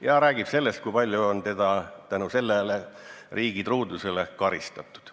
" Ja ta räägib sellest, kui palju on teda tänu riigitruudusele karistatud.